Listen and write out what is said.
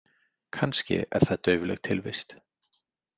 Kannski er það daufleg tilvist.